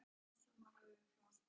Í geði barn hans er.